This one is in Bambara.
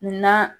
Na